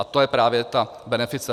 A to je právě ta benefice.